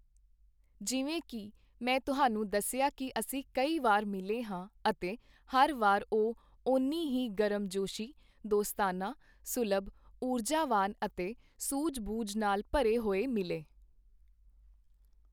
ਜਿਵੇਂ ਕਿ ਮੈਂ ਤੁਹਾਨੂੰ ਦੱਸਿਆ ਕਿ ਅਸੀਂ ਕਈ ਵਾਰ ਮਿਲੇ ਹਾਂ ਅਤੇ ਹਰ ਵਾਰ ਉਹ ਓਨੀ ਹੀ ਗਰਮ-ਜੋਸ਼ੀ, ਦੋਸਤਾਨਾ, ਸੁਲਭ, ਊਰਜਾਵਾਨ ਅਤੇ ਸੂਝ-ਬੂਝ ਨਾਲ ਭਰੇ ਹੋਏ ਮਿਲੇ।